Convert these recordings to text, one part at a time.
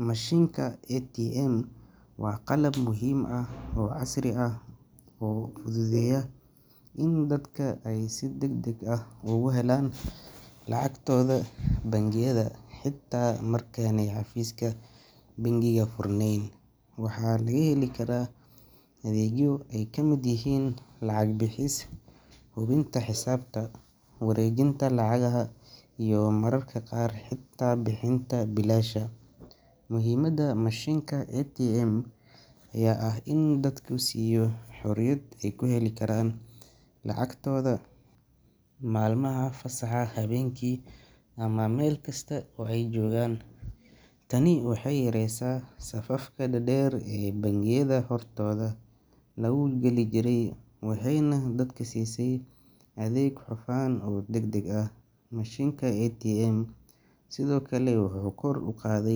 Mashinka ATM wa qalab muhiim ah oo casri ah oo fudhudheeya in dadka ey si dagdag ah oguhelaan lacagtodha bangiyadha xita marka xafiska bangiyadha furneen. Waxaa lagahelikaraa adhegyo ey kamid yahiin lacag bixis xubinta xisaabta wareejinta lacagyaha iyo mararka qaar xita bixinta bilaasha. Mihiimada mashinka ATM yaa ah in dadku siiyo xuriyad ey kuheli karaan lacagtodha malmaha fasaha habeenki ama Mel kasta oo ey jogaan. Tani waxey yareesa safafka dadeer ee bangiyadha hortodha lagugali jirey. Waxeyna dadku siise adheeg xufaan oo dagdag ah. Mashinka ATM sidhoo kale wuxu kor uqaadhe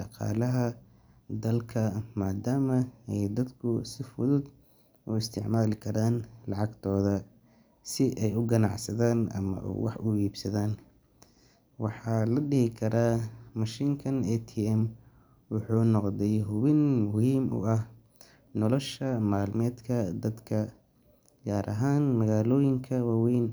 daqaalaha ee dalka madaama ey dadku si fudud uisticmali karaan lacagtodha si ey uganacsadha ama e wax uibsadan. Waxaa ladihi karaa mashinka ATM wuxu noqdey hubin muhiim uah nolosha malmedka dadka gaar ahaan magaaloyinka waweeyn.